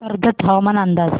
कर्जत हवामान अंदाज